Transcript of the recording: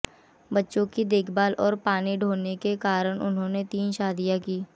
बच्चों की देखभाल और पानी ढोने के कारण इन्होंने तीन शादियां की